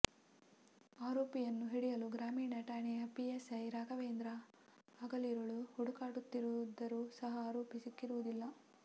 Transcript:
ಆರೋಪಿಯನ್ನು ಹಿಡಿಯಲು ಗ್ರಾಮೀಣ ಠಾಣೆಯ ಪಿಎಸ್ಐ ರಾಘವೇಂದ್ರ ಹಗಲಿರುಳು ಹುಡುಕಾಡುತ್ತಿದ್ದರೂ ಸಹ ಆರೋಪಿ ಸಿಕ್ಕಿರುವುದಿಲ್ಲ